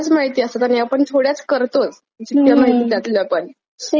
जितक्या माहित त्यातल्या पण कारण साध्यातर एंटरटेनमेंट साठी खूप काही अवेलेबल आहे.